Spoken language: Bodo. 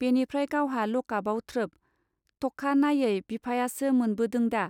बेनिफ्राय गावहा लकापआव थ्रोब! टखा नायै बिफायासो मोनबोदोंदा.